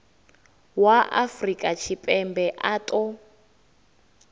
wa afrika tshipembe a ṱo